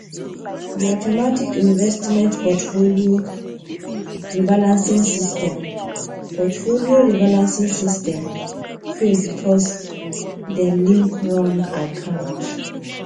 the automatic investment portfolio rebalancing system portfolio rebalancing system fail because them link wrong account